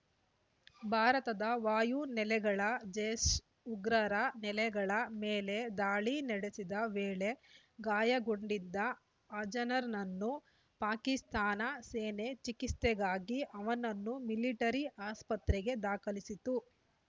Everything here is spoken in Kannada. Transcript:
ಭಾರತದ ವಾಯು ನೆಲೆಗಳ ಜೈಷ್ ಉಗ್ರರ ನೆಲೆಗಳ ಮೇಲೆ ದಾಳಿ ನಡೆಸಿದ ವೇಳೆ ಗಾಯಗೊಂಡಿದ್ದ ಅಜರ್‌ನನ್ನು ಪಾಕಿಸ್ತಾನ ಸೇನೆ ಚಿಕಿತ್ಸೆಗಾಗಿ ಅವನನ್ನು ಮಿಲಿಟರಿ ಆಸ್ಪತ್ರೆಗೆ ದಾಖಲಿಸಿತ್ತು